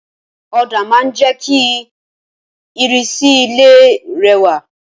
Òdà ma n je ki ìrísí ilé rẹwà